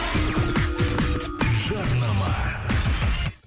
жарнама